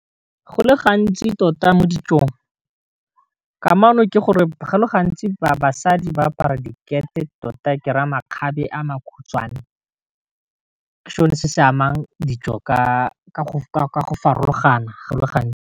Go le gantsi tota mo ditsong kamano ke gore go le gantsi ba basadi ba apara dikete tota ke re a makgabe a makhutswane, sone se se amang dijo ka go farologana go le gantsi.